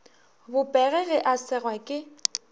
bopege ge a segwa ke